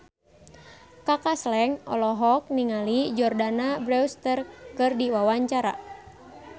Kaka Slank olohok ningali Jordana Brewster keur diwawancara